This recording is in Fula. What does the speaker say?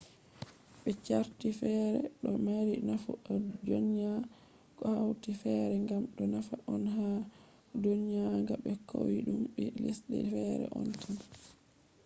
be carti fere do mari nafu a dyona ko hatoi fere kam do nafa on ha dyonuga be koidum ni lesde fere on tan